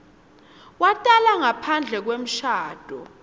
watalwa ngaphandle kwemshado